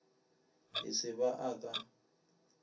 e se ba a ka